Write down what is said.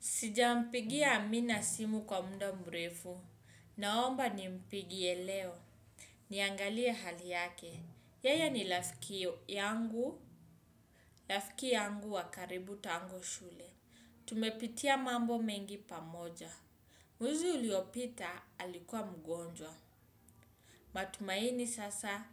Sijampigia Amina simu kwa muda mrefu. Naomba nimpigie leo. Niangalie hali yake. Yeye ni rafiki yangu, rafiki yangu wa karibu tangu shule. Tumepitia mambo mengi pamoja. Mwezi uliopita alikuwa mgonjwa. Na tumaini sasa,